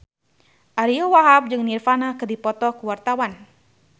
Ariyo Wahab jeung Nirvana keur dipoto ku wartawan